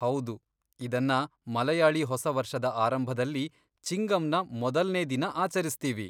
ಹೌದು, ಇದನ್ನ ಮಲಯಾಳಿ ಹೊಸ ವರ್ಷದ ಆರಂಭದಲ್ಲಿ, ಚಿಂಗಮ್ನ ಮೊದಲ್ನೇ ದಿನ ಆಚರಿಸ್ತೀವಿ.